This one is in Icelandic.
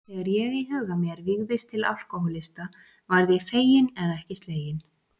Þegar ég í huga mér vígðist til alkohólista varð ég feginn en ekki sleginn.